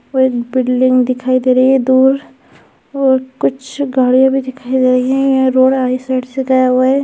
और एक बिल्डिंग दिखाई दे रही है दूर और कुछ गाड़ियाँ भी दिखाई दे रही हैं ये रोड है इस साइड से गया हुआ है।